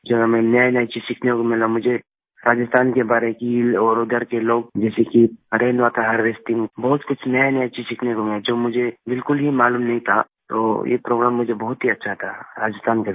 क्या हमें नयानया चीज़ सीखने को मिला मुझे राजस्थान के बड़े झील और उधर के लोग जैसे कि रैन वाटर हार्वेस्टिंग बहुत कुछ नयानया चीज़ सीखने को मिला जो मुझे बिलकुल ही मालूम नहीं था तो ये प्रोग्राम मुझे बहुत ही अच्छा था राजस्थान का visit